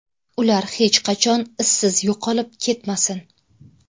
Ular hech qachon izsiz yo‘qolib ketmasin.